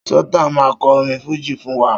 Sultan máa kọ orin fújì fún wa